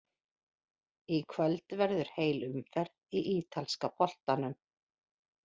Í kvöld verður heil umferð í ítalska boltanum.